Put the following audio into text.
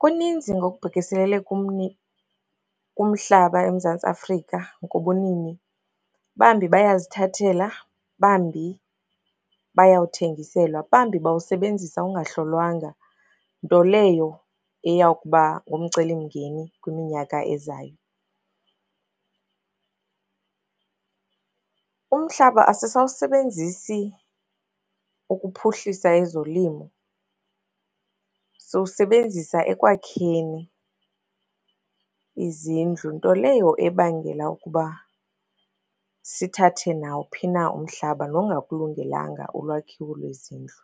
Kuninzi ngokubhekiselele kumhlaba eMzantsi Afrika ngobunini. Bambi bayazithathela, bambi bayawuthengiselwa, bambi bawusebenzisa ungahlolwanga, nto leyo eyawukuba ngumcelimngeni kwiminyaka ezayo. Umhlaba asisawusebenzisi ukuphuhlisa ezolimo, siwusebenzisa ekwakheni izindlu, nto leyo ebangela ukuba sithathe nawuphi na umhlaba, nongakulungelanga ulwakhiwo lwezindlu